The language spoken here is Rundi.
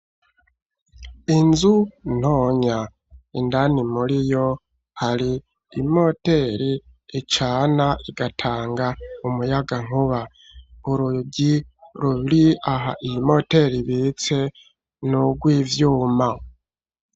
Inzu ntonya indani muriyo hari imoteri icana igatanga umuyagahunka, urugi ruri aha iyimoteri ibitse n'ugwivyuma.